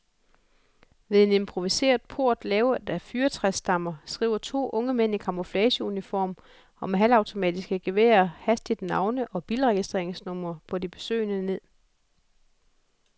Ved en improviseret port lavet af fyrretræsstammer skriver to unge mænd i camouflageuniform og med halvautomatiske geværer hastigt navne og bilregistreringsnumre på de besøgende ned.